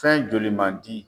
Fɛn joli mandi.